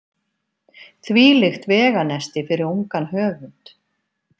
Þvílíkt veganesti fyrir ungan höfund.